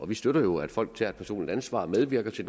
vi støtter jo at folk tager et personligt ansvar og medvirker til